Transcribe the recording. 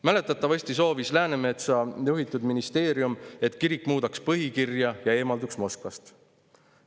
Mäletatavasti soovis Läänemetsa juhitud ministeerium, et kirik muudaks põhikirja ja eemalduks Moskvast.